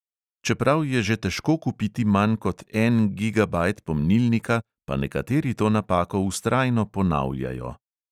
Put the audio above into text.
Čeprav je že težko kupiti manj kot en gigabajt pomnilnika, pa nekateri to napako vztrajno ponavljajo.